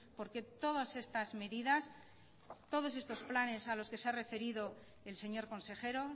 porque todas estas medidas todos estos planos a los que se ha referido el señor consejero